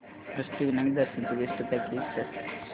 अष्टविनायक दर्शन ची best packages show कर